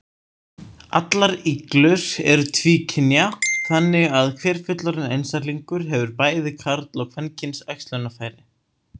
Allar iglur eru tvíkynja, þannig að hver fullorðinn einstaklingur hefur bæði karl- og kvenkyns æxlunarfæri.